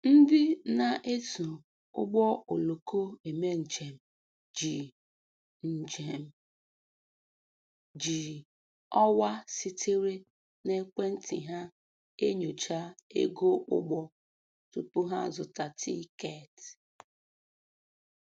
Ndị na-eso ụgbọ oloko eme njem ji njem ji ọwa sitere n'ekwentị ha enyocha ego ụgbọ tupu ha azụta tikeeti.